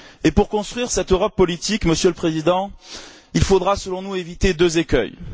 Pour construire cette Europe politique, Monsieur le Président, il faudra selon nous éviter deux écueils.